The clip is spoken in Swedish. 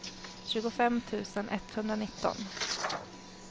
tjugofem tusen etthundranitton